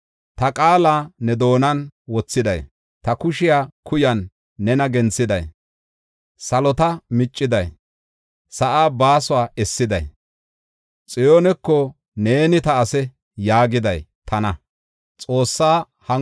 Ta qaala ne doonan wothiday, ta kushe kuyan nena genthiday, salota micciday, sa7aa baasuwa essiday, Xiyooneko, ‘Neeni ta ase’ ” yaagiday tana.